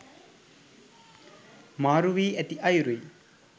මාරු වී ඇති අයුරුයි.